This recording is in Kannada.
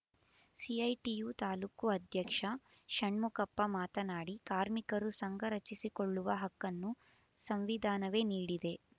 ಸಿಐಟಿಯು ತಾಲ್ಲೂಕು ಅಧ್ಯಕ್ಷ ಷಣ್ಮುಖಪ್ಪ ಮಾತನಾಡಿ ಕಾರ್ಮಿಕರು ಸಂಘ ರಚಿಸಿಕೊಳ್ಳುವ ಹಕ್ಕನ್ನು ಸಂವಿಧಾನವೇ ನೀಡಿದೆ